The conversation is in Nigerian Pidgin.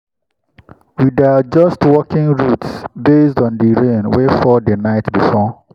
we dey adjust walking routes based on the rain wey fall the night before.